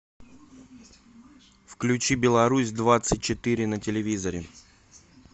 включи беларусь двадцать четыре на телевизоре